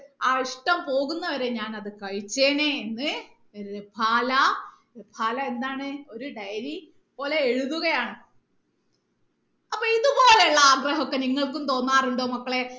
ആ ഇഷ്ട്ടം പോകുന്നത് വരെ ഞാൻ അത് കഴിച്ചേനെ എന്ന് എന്താന്ന് ഒരു diary പോലെ എഴുതുകയാണ് അപ്പൊ ഇത്പോലെ ഉള്ള ആഗ്രഹം നിങ്ങൾക്കും തോന്നാറുണ്ടോ മക്കളെ